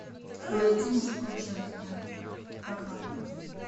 найти мужское женское программу